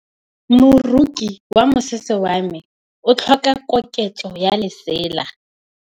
Moroki wa mosese wa me o tlhoka koketsô ya lesela.